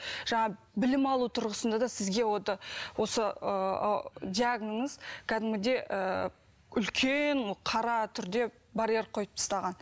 жаңағы білім алу тұрғысында да сізге осы ыыы диагноз кәдімгідей ыыы үлкен қара түрде барьер қойып тастаған